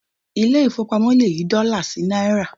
Ilé ìfowópamọ́ le yí dọ́là sí náírà.